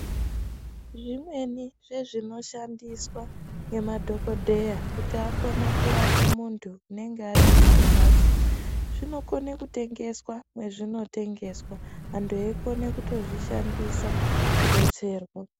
Zvimweni zvezvinoshandiswa ngemadhokodheya kuti akone kurapa muntu unenge atori kumphatso zvinokone kutengeswa mwazvinotengeswa antu eitokona kuzvishandisa kudetserwa.